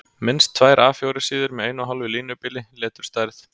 Minnst tvær A 4 síður með 1½ línubili, leturstærð